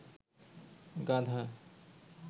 গাধা